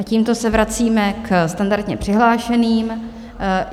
A tímto se vracíme k standardně přihlášeným.